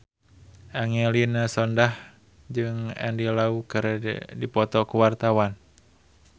Angelina Sondakh jeung Andy Lau keur dipoto ku wartawan